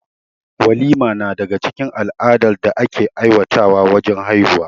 Walima na daga cikin al'adar da ake aiwatar wa wajen haihuwa